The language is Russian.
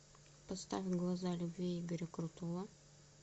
поставь глаза любви игоря крутого